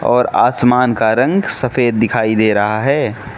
और आसमान का रंग सफेद दिखाई दे रहा है।